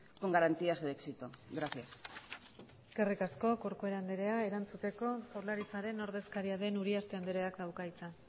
con garantías de éxito gracias eskerrik asko corcuera andrea erantzuteko jaurlaritzaren ordezkaria den uriarte andreak dauka hitza